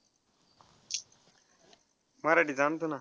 मराठीच आणतो ना.